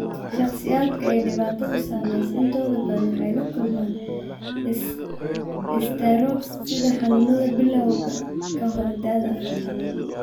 Shakhsiyaadka ay dhibaatadu saameysey intooda badan waxay la kulmaan istaroog sida xanuunada bilawga ka hor da'da afartan